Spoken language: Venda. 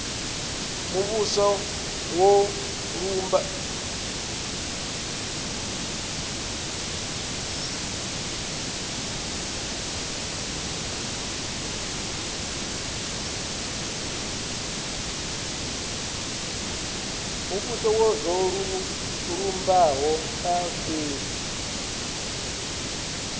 muvhuso zwo lumbaho kha fhethu